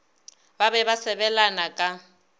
ba be ba sebelana ka